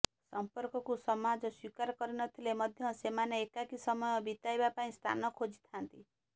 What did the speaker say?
ସଂପର୍କକୁ ସମାଜ ସ୍ୱୀକାର କରି ନ ଥିଲେ ମଧ୍ୟ ସେମାନେ ଏକାକୀ ସମୟ ବିତାଇବା ପାଇଁ ସ୍ଥାନ ଖୋଜିଥାନ୍ତି